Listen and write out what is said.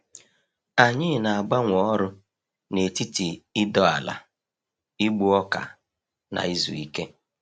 Anyị na-agbanwe ọrụ n’etiti ịdọ ala, igbu ọka, na izu ike.